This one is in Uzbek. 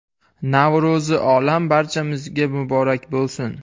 Navro‘zi olam barchamizga muborak bo‘lsin!